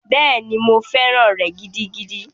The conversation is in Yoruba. Bẹ́ẹ̀ni, mo fẹ́ràn rẹ̀ gidigidi.